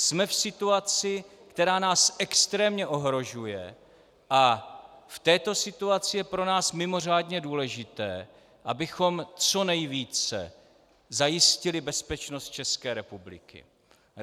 Jsme v situaci, která nás extrémně ohrožuje, a v této situaci je pro nás mimořádně důležité, abychom co nejvíce zajistili bezpečnost České republiky.